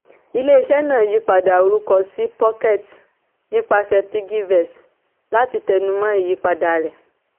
ilé-iṣẹ́ náà yípadà orúkọ sí pocket nípasẹ̀ piggyvest láti tẹ́numọ̀ ìyípadà rẹ̀.